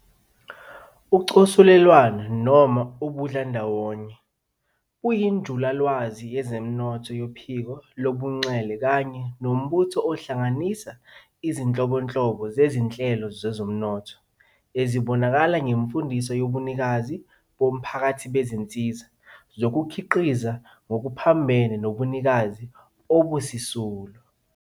UCosulelwano noma ubudlandawonye, buyinjulalwazi yezomnotho yophiko lobunxele kanye nombutho ohlanganisa izinhlobonhlobo zezinhlelo zezomnotho ezibonakala ngemfundiso yobunikazi bomphakathi bezinsiza zokukhiqiza ngokuphambene nobunikazi obusisulu.